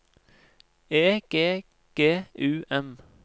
E G G U M